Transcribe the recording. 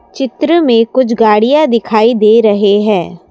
चित्र में कुछ गाड़ियां दिखाई दे रहे हैं।